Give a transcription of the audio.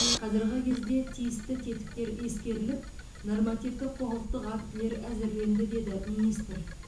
қазіргі кезде тиісті тектіктер ескеріліп нормативтік құқықтық актілер әзірленді деді министр